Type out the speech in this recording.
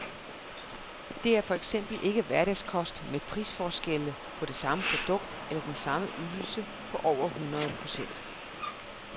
Det er for eksempel ikke hverdagskost med prisforskelle på det samme produkt eller den samme ydelse på over hundrede procent.